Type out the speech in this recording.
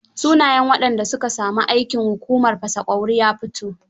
Shnayen waɗanda su ka sami aikin hukumar fasa ƙauri ya fito.